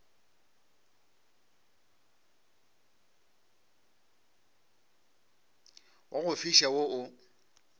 wa go fiša wo o